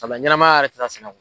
ɲɛnamaya yɛrɛ tɛ taa sɛnɛ kɔ.